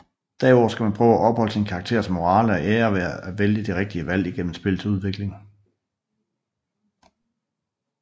Derudover skal man prøve at opholde sin karakters morale og ære ved at vælge de rigtige valg igennem spillets udvikling